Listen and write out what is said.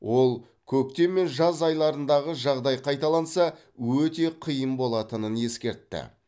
ол көктем мен жаз айларындағы жағдай қайталанса өте қиын болатынын ескертті